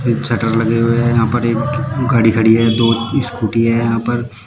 तीन शटर लगे हुए हैं यहां पर एक गाड़ी खड़ी है दो स्कूटी है यहां पर--